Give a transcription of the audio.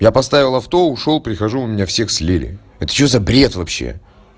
я поставил авто ушёл прихожу у меня всех слили это что за бред вообще